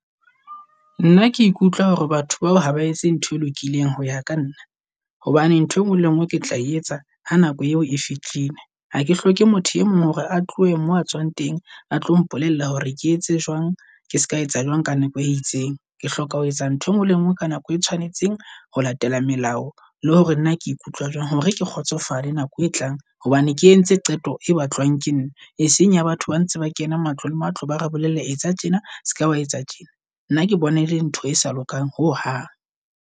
Nna ke ikutlwa hore batho bao haba etse ntho e lokileng hoya ka nna. Hobane ntho engwe le ngwe ketla e etsa ha nako eo e fitlhile. Hake hloke motho e mong hore a tlohe mo a tswang teng, a tlo mpolella hore ke etse jwang ke ska etsa jwang ka nako e itseng. Ke hloka ho etsa ntho engwe le ngwe ka nako e tshwanetseng ho latela melao le hore na ke ikutlwa jwang hore ke kgotsofale nako e tlang. Hobane ke entse qeto e batlwang ke nna e seng ya batho ba ntse ba kena matlo le matlo, ba re bolelle etsa tjena seka wa etsa tjena. Nna ke bona ele ntho e sa lokang ho hang.